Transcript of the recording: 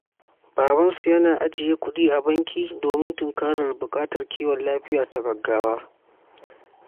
Babansu yana ajiye kudi a banki domin tunkarar buƙatar kiwon lafiya ta gaggawa.